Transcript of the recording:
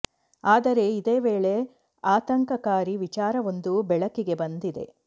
ಆದರೆ ಇದೇ ವೇಳೆ ಆತಂಕಕಾರಿ ವಿಚಾರ ಒಂದು ಬೆಳಕಿಗೆ ಬಂದಿದೆ